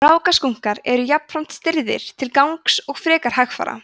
rákaskunkar eru jafnframt stirðir til gangs og frekar hægfara